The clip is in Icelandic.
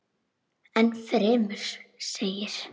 Enn fremur segir.